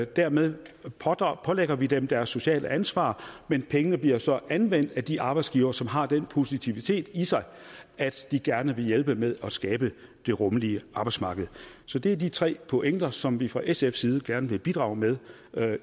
dermed pålægger vi dem deres sociale ansvar men pengene bliver så anvendt af de arbejdsgivere som har den positivitet i sig at de gerne vil hjælpe med at skabe det rummelige arbejdsmarked så det er de tre pointer som vi fra sfs side gerne vil bidrage med